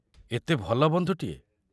ଏତେ ଭଲ ବନ୍ଧୁଟିଏ!